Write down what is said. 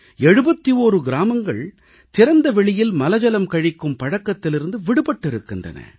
71 கிராமங்கள் திறந்த வெளியில் மலஜலம் கழிக்கும் பழக்கத்திலிருந்து விடுபட்டிருக்கிறன